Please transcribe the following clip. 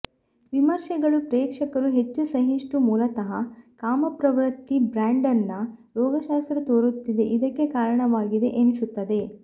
ವಿಮರ್ಶೆಗಳು ಪ್ರೇಕ್ಷಕರು ಹೆಚ್ಚು ಸಹಿಷ್ಣು ಮೂಲತಃ ಕಾಮಪ್ರವೃತ್ತಿ ಬ್ರ್ಯಾಂಡನ್ ರೋಗಶಾಸ್ತ್ರ ತೋರುತ್ತಿದೆ ಇದಕ್ಕೆ ಕಾರಣವಾಗಿದೆ ಎನಿಸುತ್ತದೆ